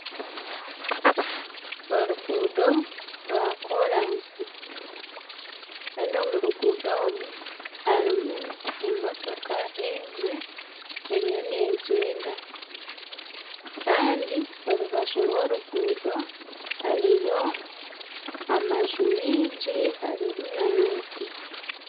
Oruguudo rwa koransi Kandi omu ruguudo omu harimu emotoka emwe eriyo negyenda Kandi orubaju rw'oruguudo hariyo amaju miingi harimu n'emiti.